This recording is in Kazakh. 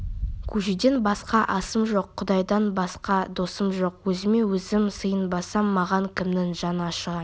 көжеден басқа асым жоқ құдайдан басқа досым жоқ өзіме өзім сыйынбасам маған кімнің жаны ашыған